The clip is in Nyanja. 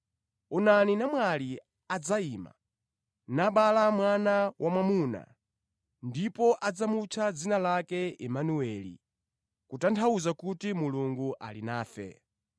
“Onani namwali adzakhala woyembekezera ndipo adzabala mwana wamwamuna, ndipo mwanayo adzamutcha Imanueli,” kutanthauza kuti, “Mulungu ali nafe.”